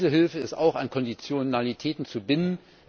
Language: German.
Diese Hilfe ist auch an Konditionalitäten zu binden.